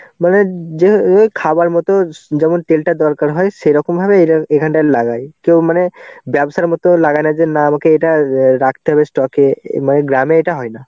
মানে যে~ খাবার মতো যেমন তেলটা দরকার হয় সেরকম ভাবে এখ~ এখানটায় লাগায়. কেউ মানে ব্যবসার মতো লাগানোর জন্য আমাকে এটা রাখতে হবে stock এ. মানে গ্রামে এটা হয় না.